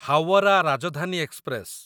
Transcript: Howrah Rajdhani express